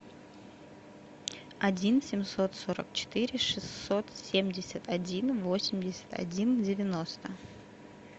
один семьсот сорок четыре шестьсот семьдесят один восемьдесят один девяносто